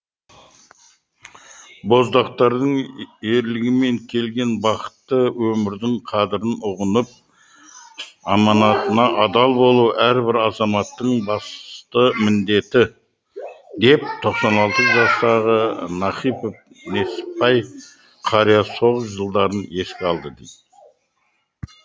боздақтардың ерлігімен келген бақытты өмірдің қадірін ұғынып аманатына адал болу әрбір азаматтың басты міндеті деп тоқсан алты жастағы нахыпов несіпбай қария соғыс жылдарын еске алды